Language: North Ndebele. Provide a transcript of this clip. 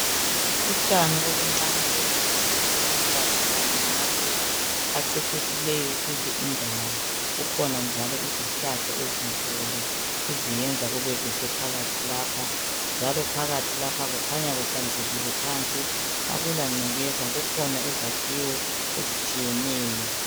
Utshani obuncane obuhle obuluhlaza kanye lamaluba acecisileyo kule indawo. Kukhona njalo izihlahla ezinkulu eziyenza kubekuhle phakathi lapha njalo phakathi lapha kukhanya kuhlanzekile phansi akulangcekeza. Kukhona izakhiwo ezitshiyeneyo.